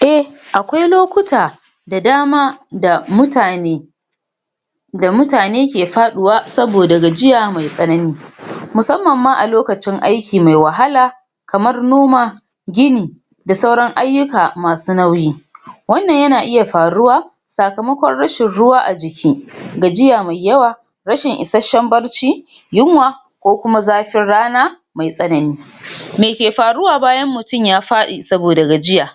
a aƙwai lokuta da dama da mutane ga mutane ke faɗuwa saboda gajiya mai tsanani musamman ma a lokacin aiki me wahala kamar noma gini da sauran aiyuka masu nauyi wannan yana iya faruwa sakamaƙon rashin ruwa a jiki gajiya me yawa rashin ishasshan barci yunwa ko kuma zafin rana me tsanani me ke faruwa bayan mutum ya faɗi saboda gajiya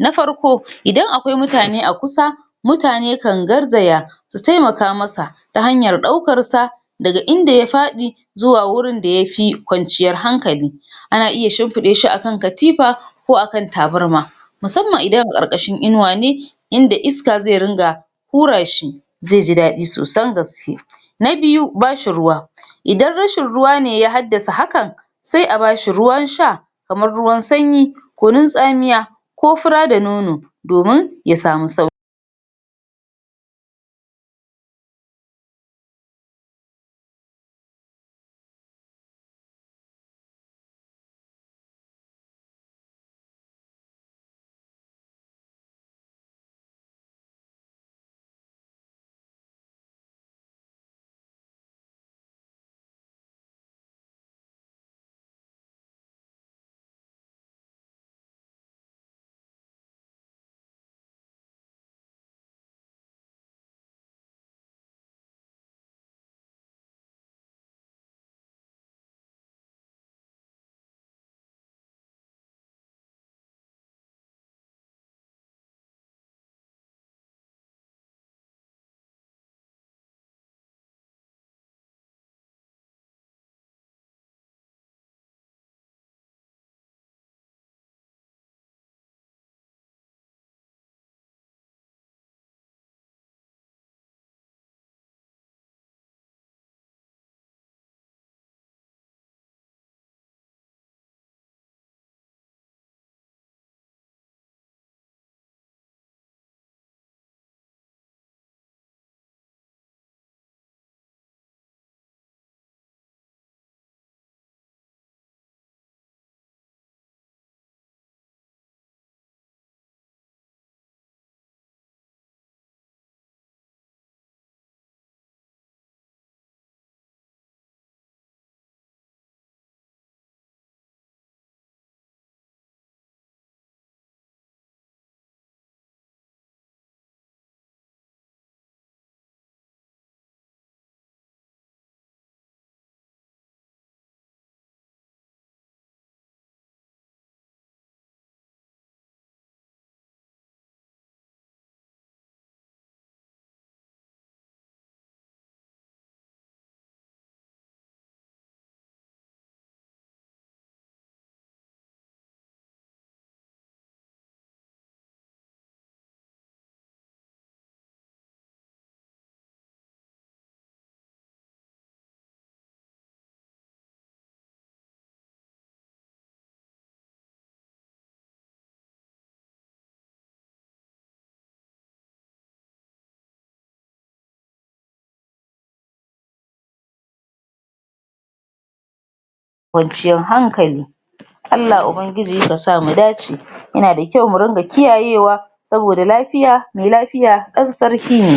na farko idan aƙwai mutane a kusa mutane kan garzaya su taimaka masa ta hanyar ɗaukarsa daga inda ya faɗi zuwa gurin da yafi ƙwanciyar hankali ana iya shinfiɗasha a kan katifa ko a kan tabarma musamman idana a ƙarƙashin inuwa ne inda iska zai ringa hurashi zaiji daɗin sosai gaske na biyu bashi ruwa idan rashin ruwane ya haddasa hakan sai a bashi ruwa sha kamar ruwan sanyi kunun tsamiya ko fura da nono domin ya samu auki ƙwanciyar hankali allah ubangiji kasa mudace yana da kyau mu dinga kiyayewa saboda lafiya me lafiya ɗan sarki ne